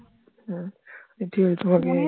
হম যে রোমাকে